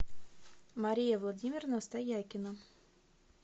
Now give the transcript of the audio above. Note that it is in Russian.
мария владимировна стоякина